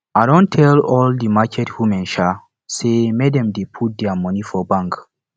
i don tell all di market women um sey make dem dey put their money for bank